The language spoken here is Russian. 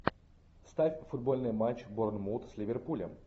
ставь футбольный матч борнмут с ливерпулем